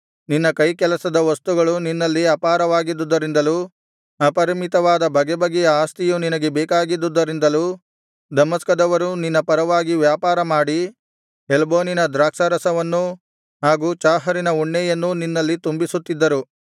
ನಿನ್ನ ಕೈಕೆಲಸದ ವಸ್ತುಗಳು ನಿನ್ನಲ್ಲಿ ಅಪಾರವಾಗಿದ್ದುದರಿಂದಲೂ ಅಪರಿಮಿತವಾದ ಬಗೆಬಗೆಯ ಆಸ್ತಿಯೂ ನಿನಗೆ ಬೇಕಾಗಿದ್ದುದರಿಂದಲೂ ದಮಸ್ಕದವರೂ ನಿನ್ನ ಪರವಾಗಿ ವ್ಯಾಪಾರಮಾಡಿ ಹೆಲ್ಬೋನಿನ ದ್ರಾಕ್ಷಾರಸವನ್ನೂ ಹಾಗು ಚಾಹರಿನ ಉಣ್ಣೆಯನ್ನೂ ನಿನ್ನಲ್ಲಿ ತುಂಬಿಸುತ್ತಿದ್ದರು